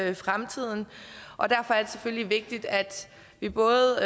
i fremtiden og derfor er det selvfølgelig vigtigt at vi både